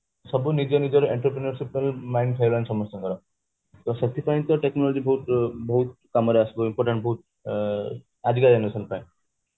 ସବୁ ନିଜ ନିଜର entertain mind ହେଇଗଲାଣି ସମସ୍ତଙ୍କର ତ ସେଥି ପାଇଁ ତ technology ବହୁତ କାମରେ ଆସିବ important ବହୁତ ଆଜିକା generation ପାଇଁ